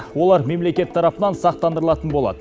олар мемлекет тарапынан сақтандырылатын болады